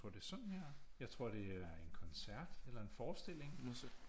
Jeg tror det er sådan her jeg tror det er en koncert eller en forestilling